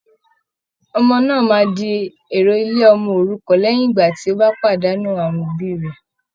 Ọmọ náà máa di èrò ilé ọmọ òrukàn léyìn ìgbà tí ó pàdánù awọn òbí rẹ̀